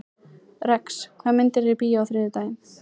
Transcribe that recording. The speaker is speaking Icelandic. Rex, hvaða myndir eru í bíó á þriðjudaginn?